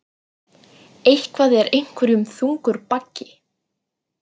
Eitthvað er einhverjum þungur baggi